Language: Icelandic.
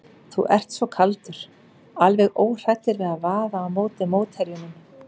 Þú ert svo kaldur, alveg óhræddur við að vaða á móti mótherjunum.